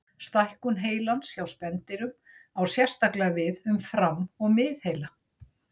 Stækkun heilans hjá spendýrum á sérstaklega við um fram- og miðheila.